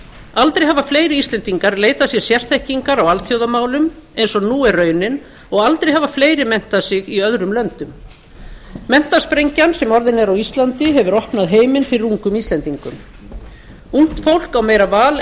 aldrei hafa fleiri íslendingar leitað sér sérþekkingar á alþjóðamálum eins og nú er raunin og aldrei hafa fleiri menntað sig í öðrum löndum menntasprengjan sem orðin er á íslandi hefur opnað heiminn fyrir ungum íslendingum ungt fólk á meira val en